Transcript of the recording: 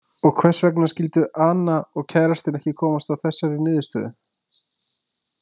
Og hvers vegna skyldu Ana og kærastinn ekki komast að þessari niðurstöðu?